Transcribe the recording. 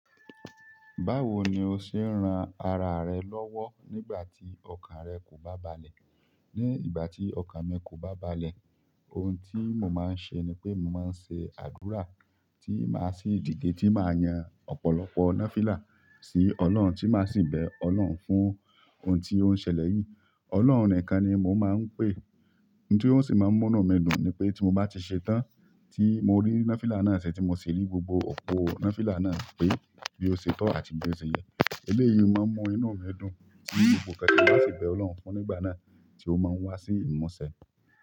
Báwo ni o ṣe ń ran ara rẹ lọ́wọ́ nígbà tí ọkàn rẹ kò bá balẹ̀? Ni ìgbà tí ọkàn mi kò bá balẹ̀, oun tí mo máa ń ṣe ni pé mo máa ń ṣe àdúrà tí máa sì dìge tí máa yan ọ̀pọ̀lọpọ̀ náfílà sí Ọlọ́run tí máa sì bẹ Ọlọ́hun fún ohun tí ó ń ṣẹlẹ̀ yìí. Ọlọ́hun nìkan ni mo máa ń pè, n tí ó n sì máa ń mú inú mi dùn ni pé tí mo bá ti ṣe tán tí mo rí náfílà náà ṣe tí mo sì rí gbogbo ọ̀pọ̀ náfílà náà pé bí ó ṣe tọ́ àti bí ó ṣe yẹ, eléyìí ni o máa mú inú mi dùn tí gbogbo nnkàn tí mo bá sì bẹ Ọlọ́run fún nígbà náà tí ó máa n wá sí ìmúṣẹ.